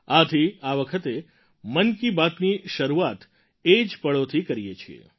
આથી આ વખતે મન કી બાતની શરૂઆત એ જ પળોથી કરીએ છીએ